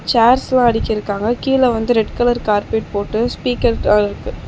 சேர்ஸ்லா அடிக்கிருக்காங்க கீழ வந்து ரெட் கலர் கார்பெட் போட்டு ஸ்பீக்கர் அ இருக்கு.